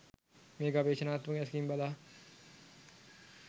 මෙය ගවේෂණාත්මක ඇසකින් බලා